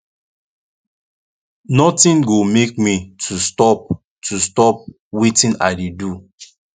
nothing go make me to stop to stop wetin i dey do